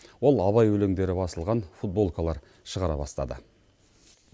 ол абай өлеңдері басылған футболкалар шығара бастады